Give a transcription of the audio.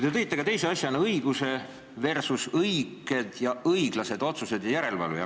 Te tõite teise asjana välja õiguse versus õiged ja õiglased otsused ja järelevalve.